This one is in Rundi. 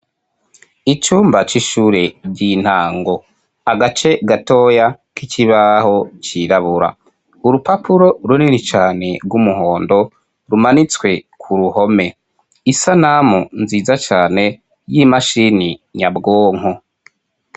Icumba c'ishure ry'intango, agace gatoya k'ikibaho cirabura, urupapuro runini cane rw'umuhondo rumanitswe ku ruhome, isanamu nziza cane y'imashini nyabwonko.